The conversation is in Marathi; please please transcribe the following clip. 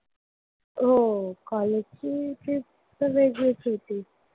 हो college ची trip तर वेगळीच होती.